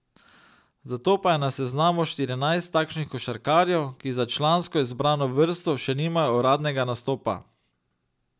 Zato pa je na seznamu štirinajst takšnih košarkarjev, ki za člansko izbrano vrsto še nimajo uradnega nastopa.